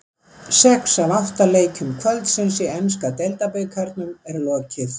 Sex af átta leikjum kvöldsins í enska deildabikarnum er lokið.